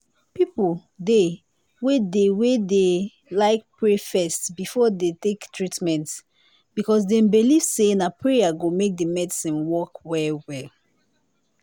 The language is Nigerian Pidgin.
people dey wey dey wey dey like pray first before dem take treatment because dem believe say na prayer go make the medicine work well well